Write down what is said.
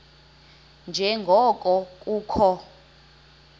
nje ngoko kukho